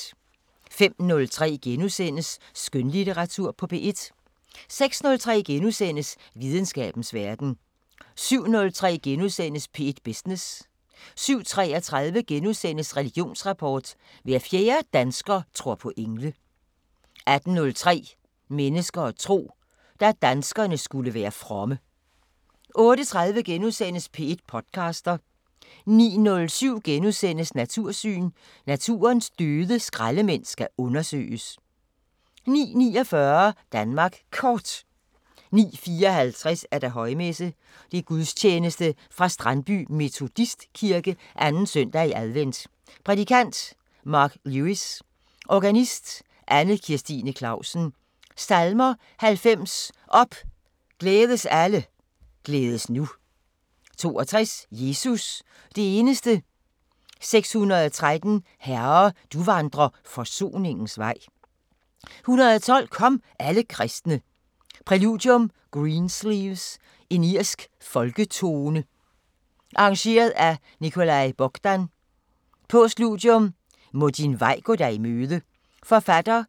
05:03: Skønlitteratur på P1 * 06:03: Videnskabens Verden * 07:03: P1 Business * 07:33: Religionsrapport: Hver fjerde dansker tror på engle * 08:03: Mennesker og tro: Da danskerne skulle være fromme 08:30: P1 podcaster * 09:07: Natursyn: Naturens døde skraldemænd skal undersøges * 09:49: Danmark Kort 09:54: Højmesse - Gudstjeneste fra Strandby Metodistkirke. 2. søndag i advent. Prædikant: Mark Lewis. Organist: Anne-Kirstine Clausen. Salmer: 90: Op, glædes alle, glædes nu. 62: Jesus – det eneste. 613: Herre, du vandrer forsoningens vej. 112: Kom, alle kristne. Præludium: Greensleeves. Irsk folketone. Arr. Nicolae Bogdan. Postludium: Må din vej gå dig i møde. Forfatter: